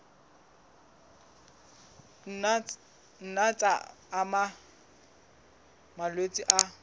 nna tsa ama malwetse a